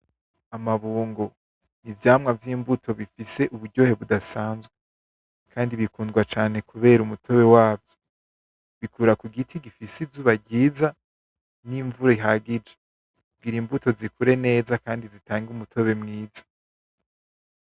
Amabungo, n’ivyamwa vy'imbuto bifise uburyohe budasanzwe, kandi bikundwa cane kubera umutobe wavyo, bikura ku giti gifise izuba ryiza n'imvura ihagije, kugira imbuto zikure neza kandi zitange umutobe mwiza.